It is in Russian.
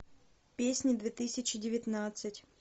песни две тысячи девятнадцать